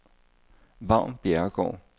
Vagn Bjerregaard